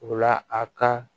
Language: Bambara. O la a ka